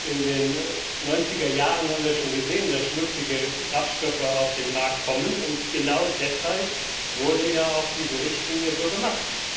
In den 90er Jahren wir schon gesehen, dass schmutzige Kraftstoffe auf den Markt kommen, und genau deshalb wurde ja auch diese Richtlinie so gemacht.